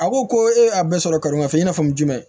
A ko ko e ye a bɛɛ sɔrɔ karimafɛ i n'a fɔ jumɛn